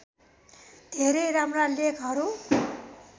धेरै राम्रा लेखहरू